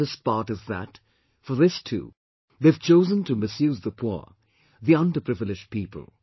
The saddest part is that, for this too, they have chosen to misuse the poor, the underprivileged people